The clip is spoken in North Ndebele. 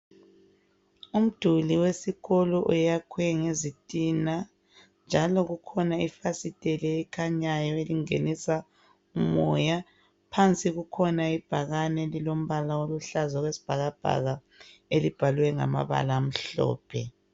Umduli wesikolo oyakhiwe ngezintina njalo kukhona ifasitela elikhanyayo elingenisa umoya phansi kukhona ibhakane elilompala oyisibhakabhaka elibhalwe ngamabala amhlophe.